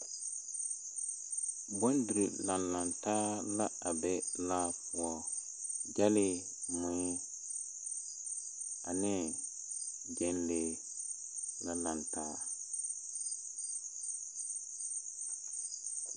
Bondere lanlantaa la a be laa poɔ. Gyɛlee mui ane gyɛnlee la lantaa.